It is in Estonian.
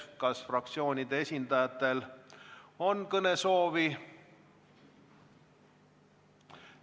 Kas fraktsioonide esindajatel on kõnesoovi?